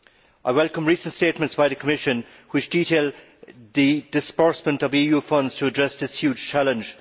I welcome recent statements by the Commission which detail the disbursement of EU funds to address this huge challenge.